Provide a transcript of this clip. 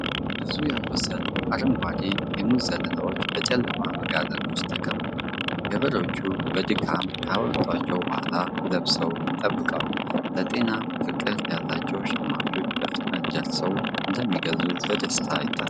ብዙ ያልበሰሉ አረንጓዴ የሙዝ ዘለላዎች በጨለማ መጋዘን ውስጥ ተከምረዋል። ገበሬዎቹ በድካም ካመጧቸው በኋላ ለመብሰል ይጠብቃሉ። ለጤና ፍቅር ያላቸው ሸማቾች በፍጥነት ደርሰው እንደሚገዙ በደስታ ይታሰባል።